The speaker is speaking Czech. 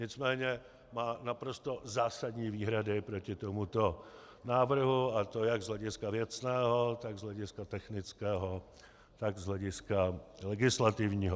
Nicméně má naprosto zásadní výhrady proti tomuto návrhu, a to jak z hlediska věcného, tak z hlediska technického, tak z hlediska legislativního.